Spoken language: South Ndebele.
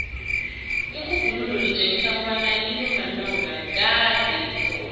irhubhululo litjengisa kobana intumbantonga kade ikhona